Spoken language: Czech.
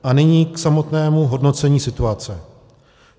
A nyní k samotnému hodnocení situace.